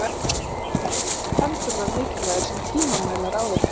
Þess vegna voru pendúlar mikilvægir sem tímamælar áður fyrr.